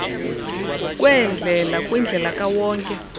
kweendlela kwindlela kawonke